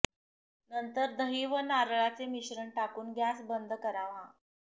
नंतर दही व नारळाचे मिश्रण टाकून गॅस बंद करावा